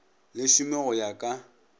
le šome go ya ka